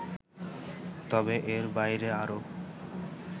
তবে এর বাইরে আরও